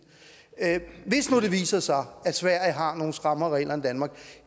hvis nu det viser sig at sverige har nogle strammere regler end danmark